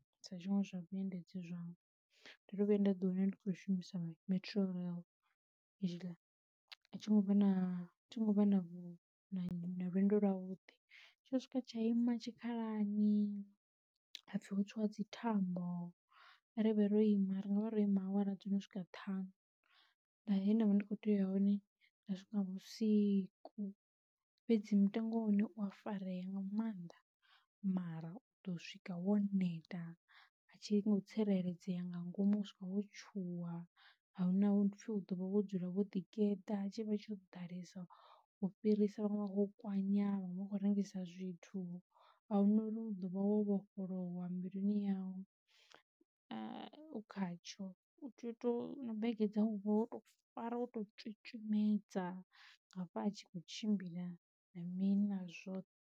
Sa zwinwe zwa vhuendedzi zwanga ndo vhuya nda ḓi wana ndi khou shumiswa Metro rail athi ngo vha na lwendo lwa vhudi, tsho swika tsha ima tshikhalani hapfi ho tswiwa dzi thambo kha ri vhe ro ima ri nga vha ro ima awara dzo no swika ṱhanu, na he ndavha ndi kho tea hone nda swika vhusiku. Fhedzi mutengo wa hone u a farea nga mannḓa mara u ḓo swika wo neta, a tshi ngo tsireledzea nga ngomu u swika wo tshuwa, a huna upfi u ḓovha wo dzula wo ḓi geḓa tshi vha tsho ḓalesa u fhirisa vhaṅwe vha vho kwanya, vhaṅwe vha khou rengisa zwithu, ahuna uri u ḓo vha wo vhofholowa mbiluni yau u khatsho, u tea u to na bege dzau uvha woto fara wo to tswitswimedza nga afha a tshi kho tshimbila na mini na zwoṱhe.